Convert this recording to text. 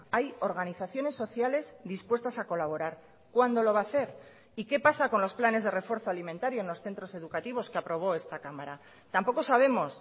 hay organizaciones sociales dispuestas a colaborar cuándo lo va a hacer y qué pasa con los planes de refuerzo alimentario en los centros educativos que aprobó esta cámara tampoco sabemos